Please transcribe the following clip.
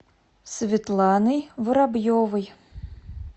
светланой воробьевой